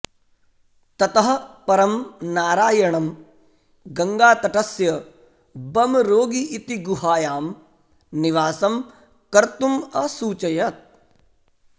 ततः परं नारायणं गङ्गातटस्य बमरोगी इति गुहायां निवासं कर्तुम् असूचयत्